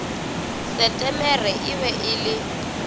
setemere e be e le